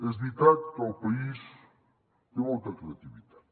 és veritat que el país té molta creativitat